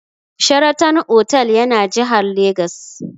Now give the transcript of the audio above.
Sheraton otal yana jihar Legas.